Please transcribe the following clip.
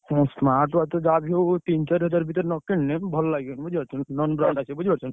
ହୁଁ smart watch ତ ଯାହାବି ହଉ ତିନି ଚାରି ହଜାର ଭିତରେ ନ କିଣିଲେ ଭଲ ଲାଗିବନି ବୁଝିପାରୁଛ ନା non brand ଆସିବ ବୁଝିପାରୁଛ ନା।